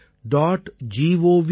in